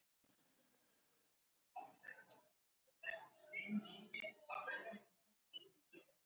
Geimskipin eru því að mestu óáreitt.